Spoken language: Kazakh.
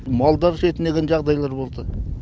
малдар шетінеген жағдайлар болды